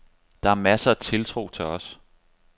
Der er masser af tiltro til os.